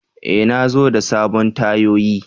E! Na zo da sabon tayoyi.